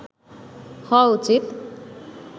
হওয়া উচিত